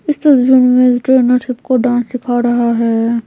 इस तस्वीर में ट्रेनर सब को डांस सिखा रहा है।